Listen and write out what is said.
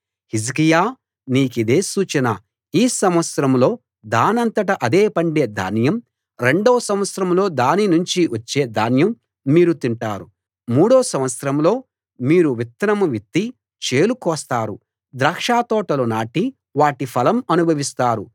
హిజ్కియా నీకిదే సూచన ఈ సంవత్సరంలో దానంతట అదే పండే ధాన్యం రెండో సంవత్సరంలో దాని నుంచి వచ్చే ధాన్యం మీరు తింటారు మూడో సంవత్సరంలో మీరు విత్తనం విత్తి చేలు కోస్తారు ద్రాక్షతోటలు నాటి వాటి ఫలం అనుభవిస్తారు